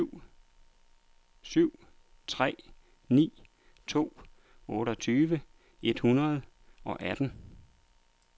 syv tre ni to otteogtyve et hundrede og atten